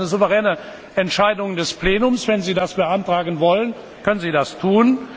Das ist eine souveräne Entscheidung des Plenums. Wenn Sie das beantragen wollen, können Sie das tun.